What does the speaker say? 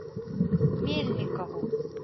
мельникову